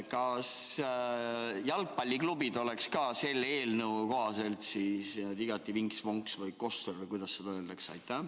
Kas jalgpalliklubid oleks ka selle eelnõu kohaselt igati vinks-vonks või koššer või kuidas selle kohta öeldakse?